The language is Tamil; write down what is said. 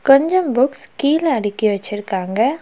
கொஞ்சம் புக்ஸ் கீழ அடுக்கி வச்சிருக்காங்க.